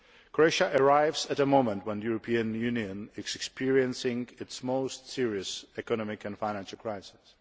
Croatia arrives at a moment when the European Union is experiencing its most serious economic and financial crisis.